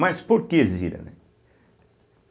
Mas por que Zira, né?